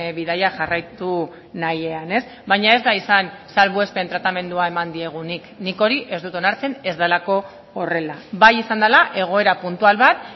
bidaia jarraitu nahian baina ez da izan salbuespen tratamendua eman diegunik nik hori ez dut onartzen ez delako horrela bai izan dela egoera puntual bat